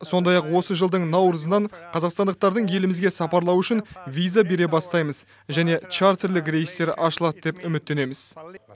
сондай ақ осы жылдың наурызынан қазақстандықтардың елімізге сапарлауы үшін виза бере бастаймыз және чартерлік рейстер ашылады деп үміттенеміз